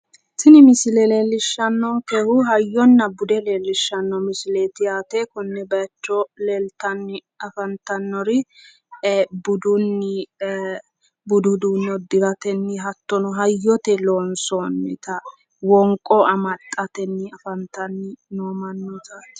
Tini misile leellishshannonkehu hayyonna bude leellishshanno misileeti yaate. Konne bayicho leeltanni afantannori budunni budu uduunne uddiratenni hattono hayyote loonsoonnita wonqo amaxxatenni afantanno mannootaati.